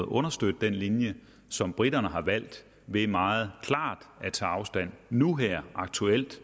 understøtte den linje som briterne har valgt ved meget klart nu her aktuelt